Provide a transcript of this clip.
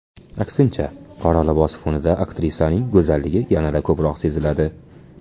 Aksincha, qora libos fonida aktrisaning go‘zalligi yanada ko‘proq seziladi.